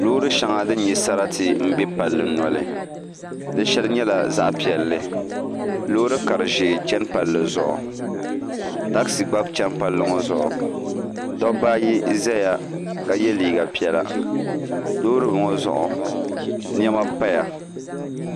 Loori shɛŋa din nya sarati m-be palli noli di shɛli nyɛla zaɣ' piɛlli loori kari' ʒee chani palli zuɣu teezi gba chani palli ŋɔ zuɣu dabba ayi zaya ka ye liiga piɛla loori ŋɔ zuɣu niɛma m-paya